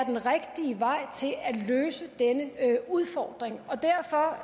løse denne udfordring derfor